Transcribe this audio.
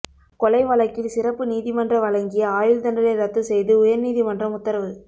கொலை வழக்கில் சிறப்பு நீதிமன்ற வழங்கிய ஆயுள்தண்டனை ரத்து செய்து உயா்நீதிமன்றம் உத்தரவு